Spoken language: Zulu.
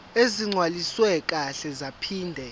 ezigcwaliswe kahle zaphinde